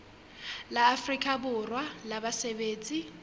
la afrika borwa la basebetsi